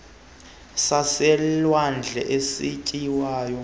sisidalwa saselwandle esityiwayo